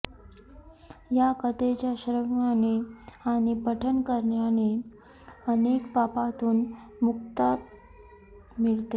या कथेच्या श्रवणाने आणि पठन करण्याने अनेक पापांतून मुक्तता मिळते